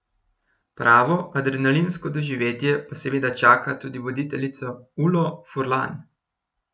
Pravo adrenalinsko doživetje pa seveda čaka tudi voditeljico Ulo Furlan.